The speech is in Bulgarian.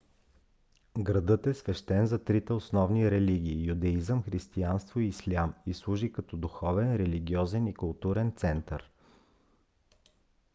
градът е свещен за трите основни религии - юдеизъм християнство и ислям и служи като духовен религиозен и културен център